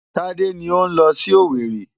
Tádé ni ó ń lọ sí Owerri.